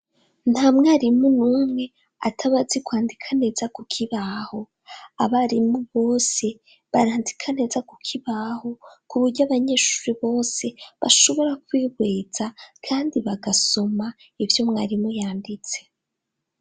Nta mwarimu n'umwe atabazi kwandika neza ku kibaho abarimu bose barandika neza ku kibaho ku buryo abanyeshuri bose bashobora kwibweza, kandi bagasoma ivyo mwarimu yanditse.